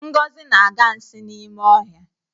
Ngozi na-aga nsi n'ime ọhịa